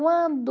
Quando...